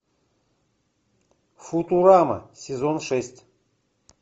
футурама сезон шесть